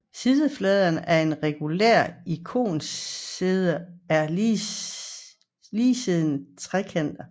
Sidefladerne af et regulært ikosaeder er ligesidede trekanter